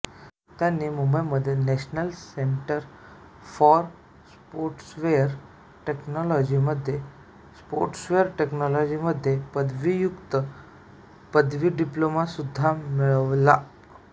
त्यांनी मुंबईमध्ये national centre for software टेक्नॉलॉजीमध्ये सॉफ्टवेअर टेक्नॉलॉजीमध्ये पदव्युत्तर पदविका डिप्लोमा सुद्धा मिळवला